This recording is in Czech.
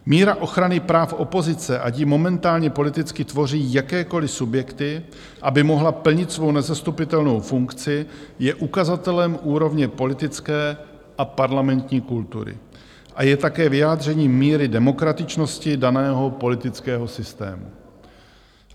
Míra ochrany práv opozice, ať ji momentálně politicky tvoří jakékoliv subjekty, aby mohla plnit svou nezastupitelnou funkci, je ukazatelem úrovně politické a parlamentní kultury a je také vyjádřením míry demokratičnosti daného politického systému.